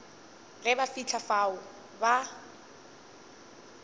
ge ba fihla fao ba